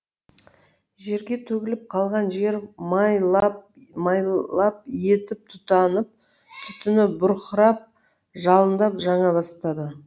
жерге төгіліп қалған жер май лап етіп тұтанып түтіні бұрқырап жалындап жана бастады